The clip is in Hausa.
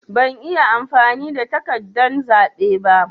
Ban iya amfani da takardan zaɓe ba.